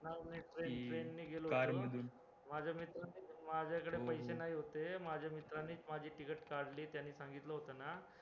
आम्ही train नि गेलो होतो माझ्याकडे पैशे नाही होते, माज्य अमित्रांनीच माझी ticket मधली त्यांनी सांगितलं होतं ना